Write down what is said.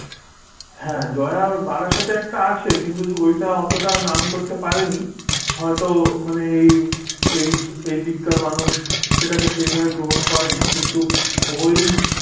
হ্যাঁ ওর জয়া বারাসাতে একটা আছে কিন্তু যে ওইটা অতটা নাম করতে পারেনি হয়তো মানে এই এই এইদিককার মানুষ সেটাকে সেই ভাবে গ্রহণ করেনি, কিন্তু ওই